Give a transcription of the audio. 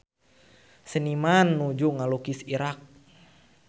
Seniman nuju ngalukis Irak